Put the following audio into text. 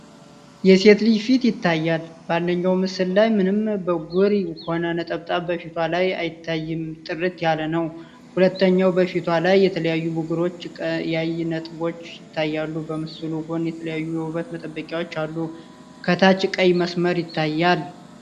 የሴት ልጅ ፊት ይታያል፤ በአንደኛው ምስል ላይ ምንም ብጉርም ሆነ ነጠብጣብ በፊቷ ላይ አይታይም ጥርት ያለ ነው፤ ሁለተኛው በፊቷ ላይ የተለያዩ ብጉሮችና ቀያይ ነጠብጣቦች ይታያሉ፤ በምስሉ ጎን የተለያዩ የውበት መጠበቂያዎች አሉ፤ ከታች ቀይ መስመር ይታያል።